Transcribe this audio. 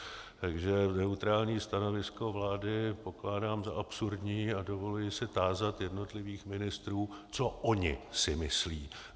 Takže neutrální stanovisko vlády pokládám za absurdní a dovoluji se tázat jednotlivých ministrů, co oni si myslí.